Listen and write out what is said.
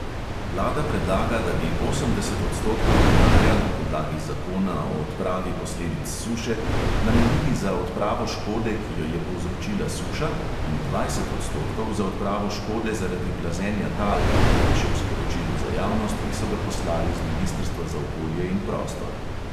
Vlada predlaga, da bi osemdeset odstotkov denarja na podlagi zakona o odpravi posledic suše namenili za odpravo škode, ki jo je povzročila suša, in dvajset odstotkov za odpravo škode zaradi plazenja tal, piše v sporočilu za javnost, ki so ga poslali z ministrstva za okolje in prostor.